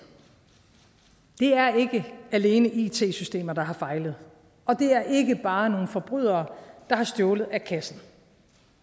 det er ikke alene it systemer der har fejlet og det er ikke bare nogle forbrydere der har stjålet af kassen